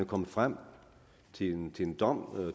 kommet frem til en en dom og